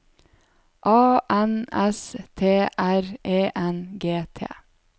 A N S T R E N G T